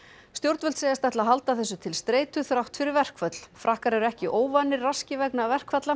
stjórnvöld segjast ætla að halda þessu til streitu þrátt fyrir verkföll frakkar eru ekki óvanir raski vegna verkfalla